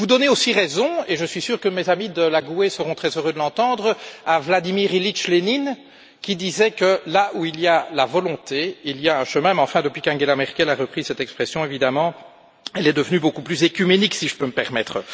Vous donnez aussi raison et je suis sûr que mes amis de la GUE seront très heureux de l'entendre à Vladimir Ilitch Lénine qui disait que là où il y a la volonté, il y a un chemin mais depuis qu'Angela Merkel a repris cette expression, elle est évidemment devenue beaucoup plus œcuménique, si je peux me permettre.